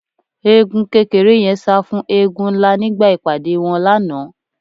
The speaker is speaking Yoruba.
Eégún kékeré yẹn sá fún eégún ńlá nígbà ìpàdé wọn lánàá